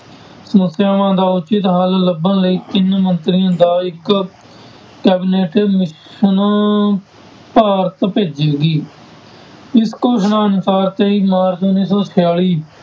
ਸਮੱਸਿਆਵਾਂ ਦਾ ਉਚਿੱਤ ਹੱਲ ਲੱਭਣ ਲਈ ਤਿੰਨ ਮੰਤਰੀਆਂ ਦਾ ਇੱਕ cabinet mission ਭਾਰਤ ਭੇਜੇਗੀ, ਇਸ ਘੋਸ਼ਣਾ ਅਨੁਸਾਰ ਤੇਈ ਮਾਰਚ ਉੱਨੀ ਸੌ ਛਿਆਲੀ